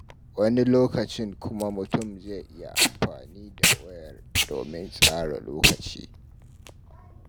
Wani lokacin kuma mutum zai iya amfani da wayar domin tsara lokacin.